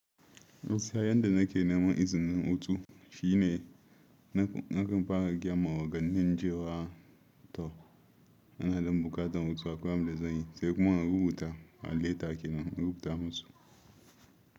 Gaskiya yanda nake neman izinin hutu shine nakan fara gaya ma ogannin cewa. To, ina ɗan buƙatar hutu akwai abun da zan yi, sai kuma in rubuta a leta kenan, in rubuta musu.